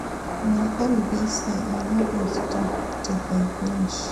My own be say I no go stop till I finish